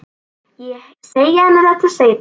Ég segi henni þetta seinna.